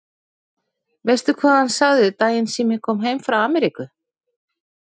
Veistu hvað hann sagði daginn sem ég kom heim frá Ameríku?